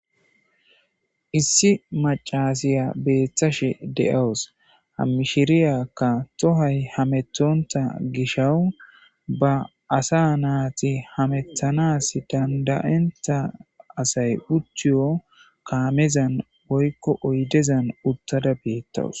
Issi maccasiya bettashe dawusu ha mishshiriyakka tohoy hamettonta gishshawu be asa nati hametanas danda'ontta assay uttiyo kaamezan woykko oyddezan uttada betawusu.